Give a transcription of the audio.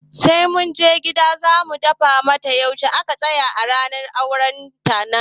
Sai mun je gida za mu fada mata yaushe a ka tsayar a matsayin ranar auren ta